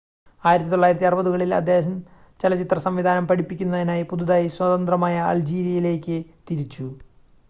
1960-കളിൽ അദ്ദേഹം ചലച്ചിത്ര സംവിധാനം പഠിപ്പിക്കുന്നതിനായി പുതുതായി സ്വതന്ത്രമായ അൾജീരിയയിലേക്ക് തിരിച്ചു